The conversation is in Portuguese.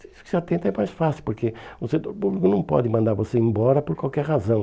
Se você atenta é mais fácil, porque o setor público não pode mandar você embora por qualquer razão.